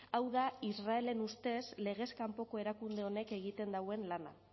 hau da israelen ustez legez kanpoko erakunde honek egiten dauen lana